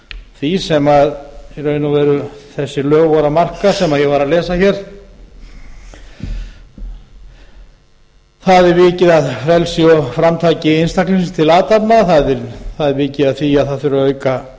því sem í raun og veru þessi lög voru að marka sem ég var að lesa hér þar er vikið að frelsi og framtaki einstaklingsins til athafna þar er vikið að því að það þurfi að auka